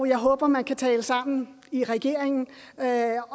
jeg håber man kan tale sammen i regeringen jeg er